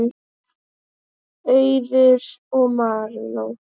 Auður og Marinó.